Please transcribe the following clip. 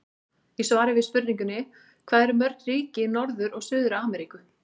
Í svari við spurningunni Hvað eru mörg ríki í Norður- og Suður-Ameríku?